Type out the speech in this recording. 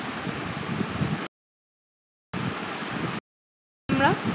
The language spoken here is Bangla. তোমরা?